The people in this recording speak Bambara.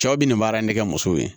Cɛw bi nin baara in ne kɛ muso ye